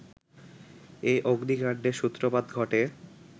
এ অগ্নিকাণ্ডের সূত্রপাত ঘটে